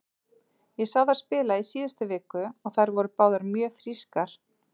Ég sá þær spila í síðustu viku og þær voru báðar mjög frískar.